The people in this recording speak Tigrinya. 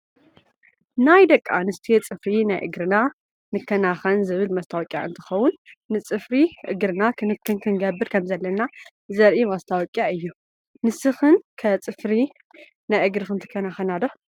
ናይ ደቂ ኣንስትዮ ፅፍሪ ናይ እግርና ንከናከን ዝብል መስታወቅያ እንትከውን ንፅፍሪ እግርና ክንክን ክንገብር ከምዘለና ዘርኢ መስታወቅያ እዩ። ንስክን ከ ፅፍሪ ናይ እግርክን ትካናከና ዶ ?